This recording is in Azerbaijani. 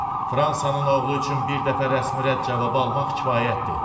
Fransanın oğlu üçün bir dəfə rəsmi rədd cavabı almaq kifayətdir.